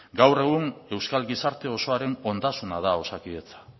gaur egun euskal gizarte osoaren ondasuna da osakidetza